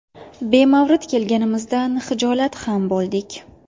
Bemavrid kelganimizdan hijolat ham bo‘ldik.